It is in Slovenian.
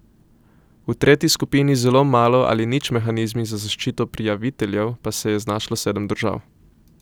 V tretji skupini z zelo malo ali nič mehanizmi za zaščito prijaviteljev pa se je znašlo sedem držav.